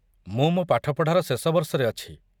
ମୁଁ ମୋ ପାଠପଢ଼ାର ଶେଷବର୍ଷରେ ଅଛି।